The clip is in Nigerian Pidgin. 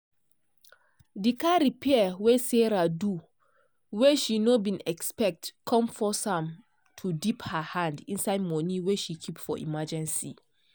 di car repair wey sarah do wey she nor bin expect come force am to dip her hand inside money wey she keep for emergency.